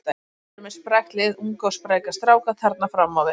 Þeir eru með sprækt lið, unga og spræka stráka þarna fram á við.